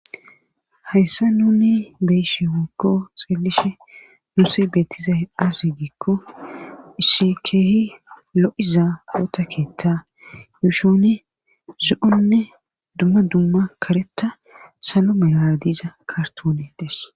Hayssa nuni beyishimokko xeelishe nuse beettizahe aase giikko isikeehi lo7iza oota keetta yuushione zo7onne dumma dumma kareta salo melara diiza kartoni des.